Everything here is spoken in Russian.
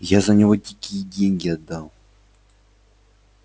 я за него дикие деньги отдал